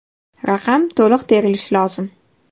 Raqam to‘liq terilishi lozim.